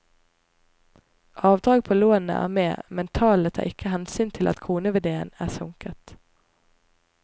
Avdrag på lånene er med, men tallene tar ikke hensyn til at kroneverdien er sunket.